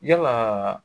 Yalaa